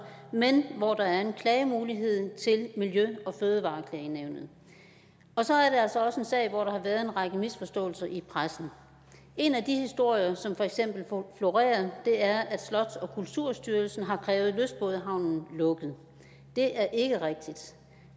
men hvor der er en klagemulighed til miljø og fødevareklagenævnet og så er det altså også en sag hvor der har været en række misforståelser i pressen en af de historier som florerer er feks at slots og kulturstyrelsen har krævet lystbådehavnen lukket det er ikke rigtigt